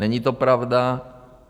Není to pravda.